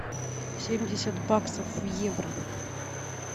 семьдесят баксов в евро